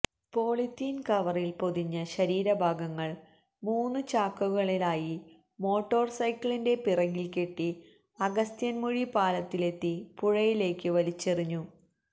polythene കവറിൽ പൊതിഞ്ഞ ശരീരഭാഗങ്ങൾ മൂന്ന് ചാക്കുകളിലായി മോട്ടോർ സൈക്കിളിന്റെ പിറകിൽ കെട്ടി അഗസ്ത്യന്മുഴി പാലത്തിലെത്തി പുഴയിലേക്ക് വലിച്ചെറിഞ്ഞു